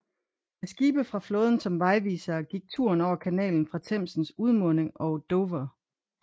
Med skibe fra flåden som vejvisere gik turen over kanalen fra Themsens udmunding og Dover